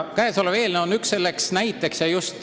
Käesolev eelnõu on üks selline näide.